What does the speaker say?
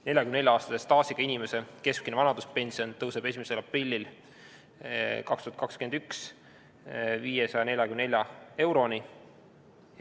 44-aastase staažiga inimese keskmine vanaduspension tõuseb 1. aprillil 2021. aastal 544 euroni.